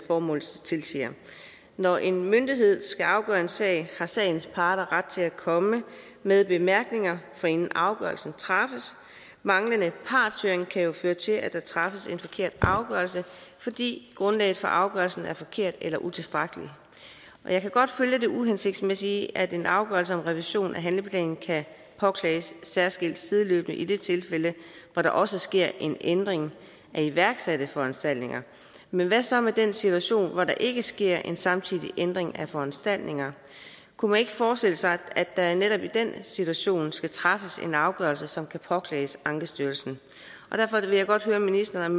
formålet tilsiger når en myndighed skal afgøre en sag har sagens parter ret til at komme med bemærkninger forinden afgørelsen træffes manglende partshøring kan jo føre til at der træffes en forkert afgørelse fordi grundlaget for afgørelsen er forkert eller utilstrækkeligt jeg kan godt følge det uhensigtsmæssige i at en afgørelse om revision af handleplanen kan påklages særskilt sideløbende i det tilfælde hvor der også sker en ændring af iværksatte foranstaltninger men hvad så med den situation hvor der ikke sker en samtidig ændring af foranstaltninger kunne man ikke forestille sig at der netop i den situation skal træffes en afgørelse som kan påklages ankestyrelsen derfor vil jeg godt høre ministeren